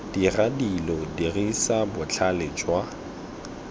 dira dilo dirisa botlhale jwa